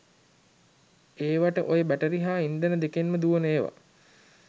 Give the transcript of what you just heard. ඒවට ඔය බැටරි හා ඉන්ධන දෙකෙන්ම දුවන ඒව.